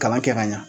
Kalan kɛ ka ɲa